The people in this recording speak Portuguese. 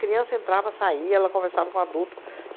Criança entrava, saía, ela conversava com o adulto.